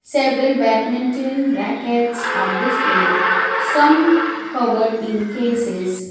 several badminton rackets are displayed some covered in cases.